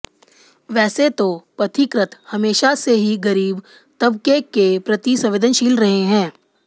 वैसे तो पथिकृत हमेशा से ही गरीब तबके के प्रति संवेदनशील रहे हैं